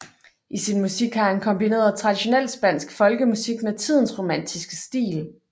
I sin musik har han kombineret traditionel spansk folkemusik med tidens romantiske stil